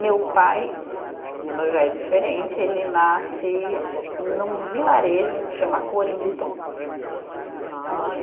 Meu pai, já é diferente, ele nasce num vilarejo que chama Corinto. Né